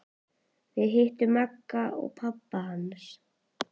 Við hittum Magga og pabba hans!